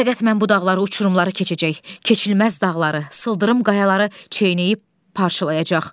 Fəqət mən bu dağları, uçurumları keçəcək, keçilməz dağları, sıldırım qayaları çeynəyib parçalayacaq.